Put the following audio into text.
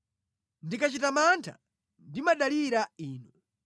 Ndikachita mantha ndimadalira Inu.